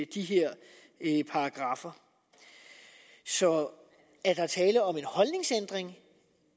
de her paragraffer så er der tale om en holdningsændring